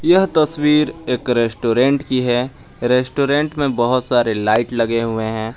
यह तस्वीर एक रेस्टोरेंट की है रेस्टोरेंट में बहोत सारे लाइट लगे हुए हैं।